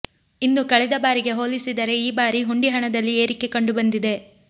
ಇನ್ನು ಕಳೆದ ಬಾರಿಗೆ ಹೋಲಿಸಿದರೆ ಈ ಬಾರಿ ಹುಂಡಿ ಹಣದಲ್ಲಿ ಏರಿಕೆ ಕಂಡು ಬಂದಿದೆ